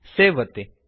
save ಒತ್ತಿ